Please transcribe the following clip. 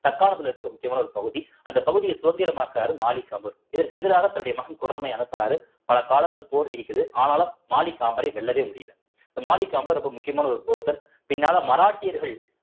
தற்காலத்துல இருக்க ஒரு முக்கியமான ஒரு பகுதி அந்த பகுதிய சுதந்திரமாக்குறாரு மாலிக் கபூர் இதற்கு எதிராக தன்னுடைய மகன் குரமையை அனுப்புறாரு பல காலங்கள் போர் நீடிக்குது ஆனாலும் மாலிக் வெல்லவே முடியலை இந்த மாலிக் ரொம்ப முக்கியமான ஒரு person பின்னால மராட்டியர்கள்